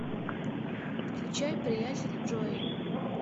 включай приятель джои